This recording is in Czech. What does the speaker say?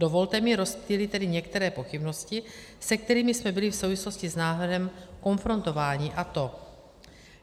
Dovolte mi rozptýlit tedy některé pochybnosti, se kterými jsme byli v souvislosti s návrhem konfrontováni, a to: